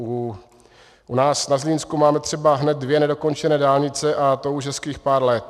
U nás na Zlínsku máme třeba hned dvě nedokončené dálnice, a to už hezkých pár let.